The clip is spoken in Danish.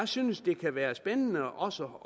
synes det kan være spændende også